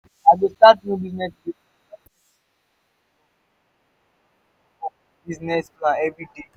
i go start new business so i don set in ten tion to work in ten tion to work on my business plan every day.